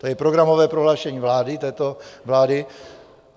To je programové prohlášení této vlády .